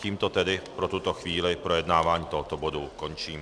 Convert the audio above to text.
Tímto tedy pro tuto chvíli projednávání tohoto bodu končím.